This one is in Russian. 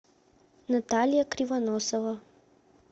наталья кривоносова